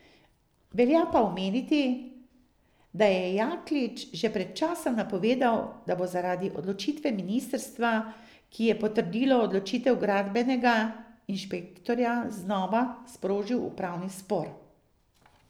Velja pa omeniti, da je Jaklič že pred časom napovedal, da bo zaradi odločitve ministrstva, ki je potrdilo odločitev gradbenega inšpektorja, znova sprožil upravni spor.